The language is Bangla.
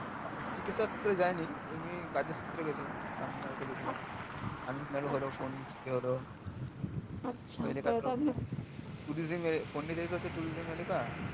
চিকিৎসার সূত্রে যায়নি এমনি কাজের সূত্রে গেছিলাম তামিলনাড়ু তে গেছিলাম তামিলনাড়ু হলো পন্ডিচেরী হলো tourism এলাকা